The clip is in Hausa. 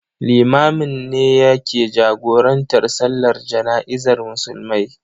Limamin ne yake jagorantar Sallar Jana'izar Musulmai.